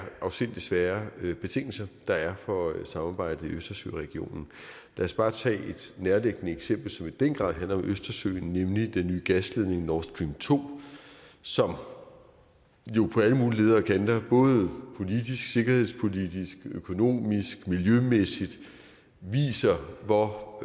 afsindig svære betingelser der er for samarbejdet i østersøregionen lad os bare tage et nærliggende eksempel som i den grad handler om østersøen nemlig den nye gasledning nord stream to som jo på alle mulige leder og kanter både politisk sikkerhedspolitisk økonomisk miljømæssigt viser hvor